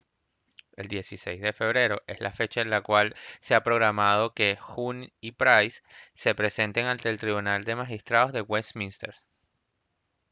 el 16 de febrero es la fecha en la cual se ha programado que huhne y pryce se presenten ante el tribunal de magistrados de westminster